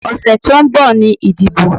Ọ̀sẹ̀ tó ń bọ̀ ni ìdìbò.